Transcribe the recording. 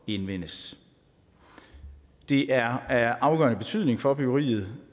indvindes det er af afgørende betydning for byggeriet